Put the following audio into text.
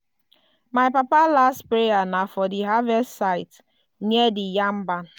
my papa last prayer na for di harvest site near di yam barn.